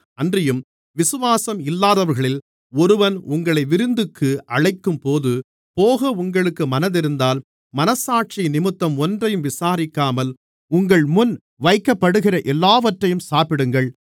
அன்றியும் விசுவாசம் இல்லாதவர்களில் ஒருவன் உங்களை விருந்துக்கு அழைக்கும்போது போக உங்களுக்கு மனமிருந்தால் மனச்சாட்சியினிமித்தம் ஒன்றையும் விசாரிக்காமல் உங்கள்முன் வைக்கப்படுகிற எல்லாவற்றையும் சாப்பிடுங்கள்